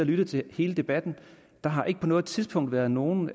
lyttet til hele debatten der har ikke på noget tidspunkt været nogen